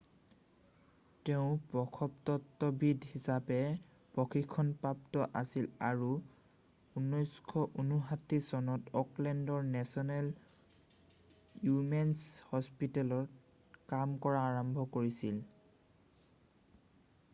তেওঁ প্ৰসৱতত্ত্বৱিদ হিচাপে প্ৰশিক্ষণপ্ৰাপ্ত আছিল আৰু 1959 চনত অকলেণ্ডৰ নেছনেল উইমেনছ হস্পিটালত কাম কৰা আৰম্ভ কৰিছিল